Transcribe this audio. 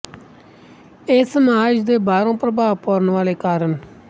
ੲ ਸਮਾਜ ਦੇ ਬਾਹਰੋਂ ਪ੍ਰਭਾਵ ਪਾਉਣ ਵਾਲੇ ਕਾਰਨ